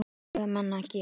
Hvað eiga menn að gera?